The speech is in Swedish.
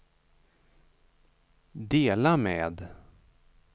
dela med